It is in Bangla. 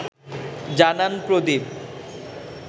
জানান প্রদীপ